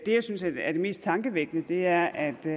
jeg synes er det mest tankevækkende er at